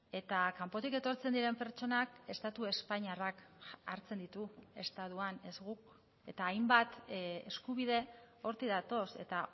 eta kanpotik etortzen diren pertsonak estatu espainiarrak hartzen ditu estatuan ez guk eta hainbat eskubide hortik datoz eta